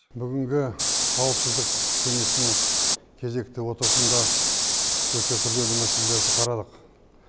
бүгінгі қауіпсіздік кеңесінің кезекті отырысында өте күрделі мәселелерді қарадық